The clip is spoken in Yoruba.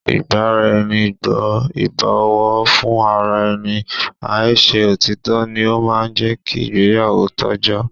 Ìgbaraẹnigbọ́, ìbọ̀wọ́ fún ara ẹni, i ṣe òtítọ́ ni ó máa ń jẹ́ kí ìgbéyàwó tọ́jọ́